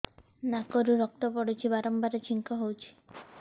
ନାକରୁ ରକ୍ତ ପଡୁଛି ବାରମ୍ବାର ଛିଙ୍କ ହଉଚି